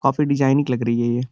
काफी डिजाइनिंग लग रही है ये --